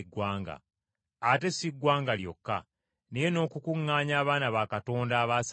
ate si ggwanga lyokka naye n’okukuŋŋaanya abaana ba Katonda abaasaasaana.